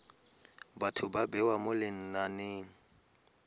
batho ba bewa mo lenaneng